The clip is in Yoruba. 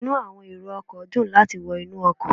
Inu àwọn èrò ọkọ̀ dùn láti wọ inú ọkọ̀